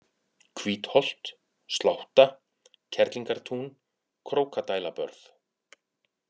Hvítholt, Slátta, Kerlingartún, Krókadælabörð